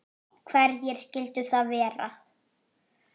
Hverjir skyldu það vera?